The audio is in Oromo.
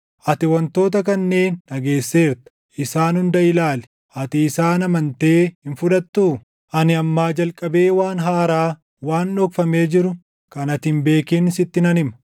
Ati wantoota kanneen dhageesseerta; isaan hunda ilaali. Ati isaan amantee hin fudhattuu? “Ani ammaa jalqabee waan haaraa, waan dhokfamee jiru kan ati hin beekin sitti nan hima.